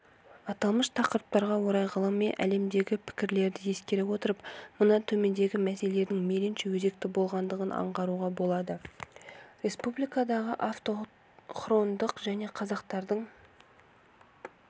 аталмыш тақырыптарға орай ғылыми әлемдегі пікірлерді ескере отырып мына төмендегі мәселелердің мейлінше өзекті болғандығын аңғаруға болады республикадағы автохтонды халық қазақтардың